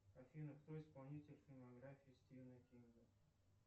афина кто исполнитель фильмографии стивена кинга